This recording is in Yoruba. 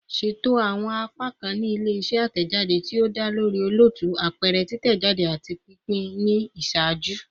Ṣeto awọn apakan ni ile-iṣẹ atẹjade ti o da lori olootu, apẹrẹ, titẹjade, ati pinpin ni iṣaaju